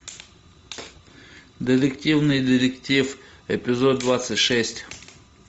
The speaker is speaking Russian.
детективный детектив эпизод двадцать шесть